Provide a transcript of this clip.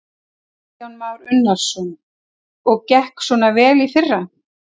Kristján Már Unnarsson: Og gekk svona vel í fyrra?